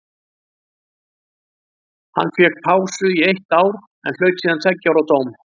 Hann fékk pásu í eitt ár en hlaut síðan tveggja ára dóm.